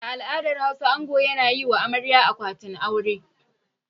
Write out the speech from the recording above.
A al'adar Hausa ango yana yi ma amarya akwatin aure.